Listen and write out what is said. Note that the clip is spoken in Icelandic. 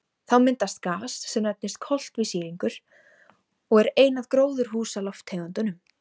Þá myndast gas sem nefnist koltvísýringur og er ein af gróðurhúsalofttegundunum.